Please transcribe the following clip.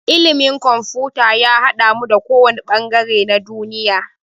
Ilimin kumfuta ya haɗamu da ko wanne ɓangare na duniya